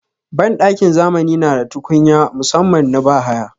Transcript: Banɗakin zamani na da tukunya musaman na bahaya.